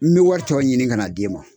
N be wɔri tɔ ɲini kan'a d'e ma.